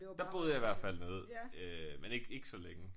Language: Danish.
Der boede jeg i hvert fald nede øh men ikke ikke så længe